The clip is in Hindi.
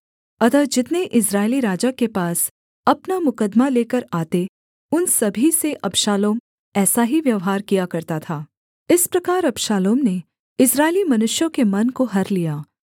अतः जितने इस्राएली राजा के पास अपना मुकद्दमा लेकर आते उन सभी से अबशालोम ऐसा ही व्यवहार किया करता था इस प्रकार अबशालोम ने इस्राएली मनुष्यों के मन को हर लिया